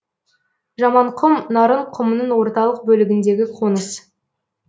жаманқұм нарын құмының орталық бөлігіндегі қоныс